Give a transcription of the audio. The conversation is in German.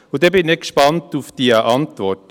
Und dann bin ich gespannt auf die Antwort.